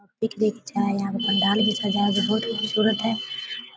यहाँ पे पंडाल भी सजा है बहुत ही खुबसूरत है।